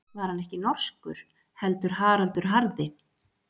Var hann ekki norskur, heldur Haraldur harði?